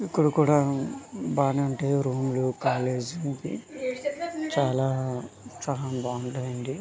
ఇక్కడ కూడా బానే ఉంటది రూమ్లో కాలేజీ చాలా చాలా బాగుంటాయి అండి--